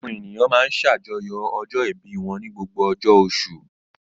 Àwọn ènìyàn máa ń ṣàjọyọ̀ ọjọ́-ìbí wọn ní gbogbo ọjọ́ oṣù.